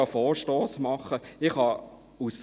Vielleicht kannst du ja einen Vorstoss einreichen.